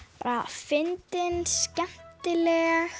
fyndin skemmtileg